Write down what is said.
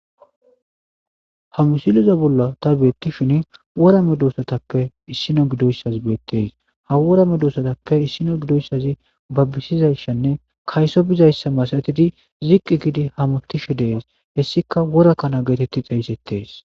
Ha misileza bolla ta beettishin wora me doosatappe issino gidoyssazi beettees ha wora me doosatappe issino gidoyssazi babbisizayshanne kayso bizayssa masatidi ziqqi gidi hamotishe dees hessika worakkana geetetti xayisettees